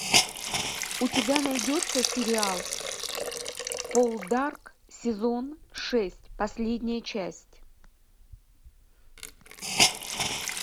у тебя найдется сериал полдарк сезон шесть последняя часть